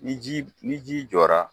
Ni ji ni ji jɔra